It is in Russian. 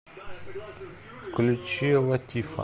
включи латифа